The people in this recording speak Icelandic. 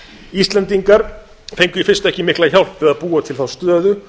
íslendingar fengu í fyrstu ekki mikla hjálp við að búa til þá stöðu